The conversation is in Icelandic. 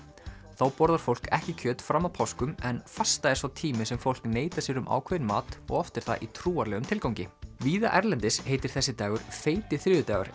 þá borðar fólk ekki kjöt fram að páskum en fasta er sá tími sem fólk neitar sér um ákveðinn mat og oft er það í trúarlegum tilgangi víða erlendis heitir þessi dagur feiti þriðjudagur